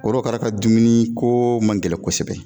Korokara ka dumuni koo man gɛlɛn kosɛbɛ